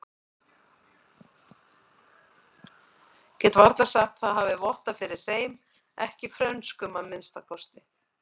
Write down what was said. Get varla sagt það hafi vottað fyrir hreim, ekki frönskum að minnsta kosti.